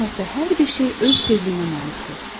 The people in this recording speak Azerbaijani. Kainatda hər bir şey öz tezliyinə malikdir.